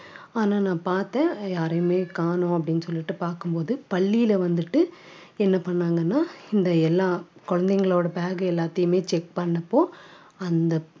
ஆனா நான் பார்த்தேன் யாரையுமே காணோம் அப்படின்னு சொல்லிட்டு பார்க்கும் போது பள்ளியில வந்துட்டு என்ன பண்ணாங்கன்னா இந்த எல்லா குழந்தைங்களோட bag எல்லாத்தையுமே check பண்ணப்போ அந்த